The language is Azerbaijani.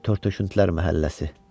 Törtöşüntülər məhəlləsi.